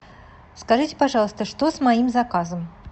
скажите пожалуйста что с моим заказом